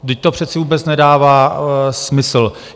Vždyť to přece vůbec nedává smysl.